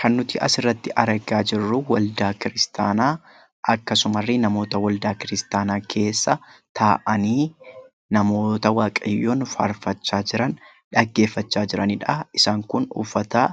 Kan nuti asirratti argaa jirru waldaa kiristaanaa akkasumarree namoota waldaa kiristaanaa keessa taa'anii, namoota Waaqayyoon faarfachaa jiran, dhaggeeffachaa jiranidha. Isaan kun uffata